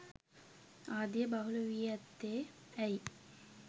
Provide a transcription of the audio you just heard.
ආදිය බහුල වී ඇත්තේ ඇයි.